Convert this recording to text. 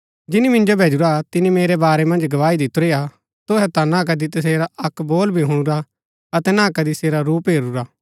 जिनी मिन्जो भैजुरा तिनी मेरै बारै मन्ज गवाही दितुरी हा तुहै ता ना कदी तसेरा अक्क बोल भी हुणुरा अतै ना कदी सेरा रूप हेरूरा